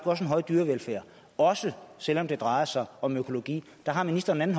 også en høj dyrevelfærd også selv om det drejer sig om økologi der har ministeren en